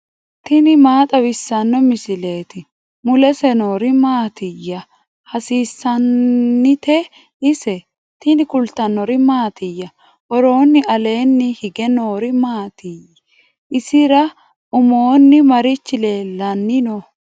tini maa xawissanno misileeti ? mulese noori maati ? hiissinannite ise ? tini kultannori mattiya? Woroonni aleenni hige noori maatti? isira ummonni marichi leelanni noo?